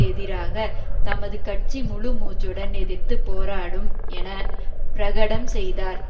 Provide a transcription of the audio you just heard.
எதிராக தமது கட்சி முழு மூச்சுடன் எதிர்த்து போராடும் என பிரகடம் செய்தார்